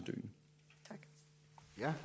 sikre